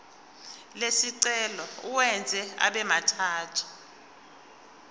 lesicelo uwenze abemathathu